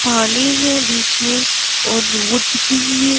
पानी है बीच में और रोड दिख रही है।